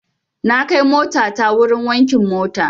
Na kai motana wurin wankin mota.